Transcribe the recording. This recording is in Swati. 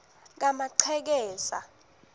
kamachekeza